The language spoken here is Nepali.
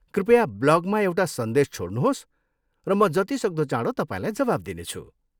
कृपया ब्लगमा एउटा सन्देश छोड्नुहोस् र म जतिसक्दो चाँडो तपाईँलाई जवाफ दिनेछु।